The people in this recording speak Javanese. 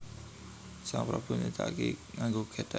Sang Prabu nyedhaki nganggo gethek